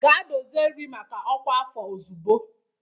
Gaa dozie nri maka ọkwa afọ ozugbo!